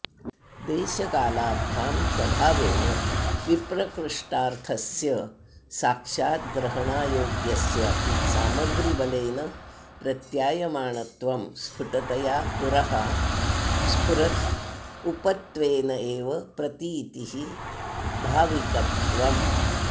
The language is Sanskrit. देशकालाभ्यां स्वभावेन विप्रकृष्टार्थस्य साक्षात् ग्रहणायोग्यस्यापि सामग्रीबलेन प्रत्यायमाणत्वं स्फुटतया पुरः स्फुरदूपत्वेनैव प्रतीतिर्भाविकत्वम्